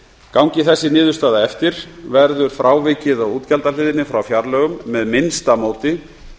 gangi þessi niðurstaða eftir verður frávikið á útgjaldahliðinni frá fjárlögum með minnsta móti